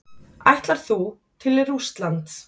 Ætlar þú til Rússlands?